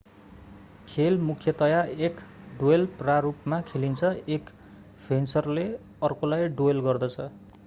खेल मुख्यतया एक ड्वेल प्रारूपमा खेलिन्छ एक फेन्सरले अर्कोलाई ड्वेल गर्दछ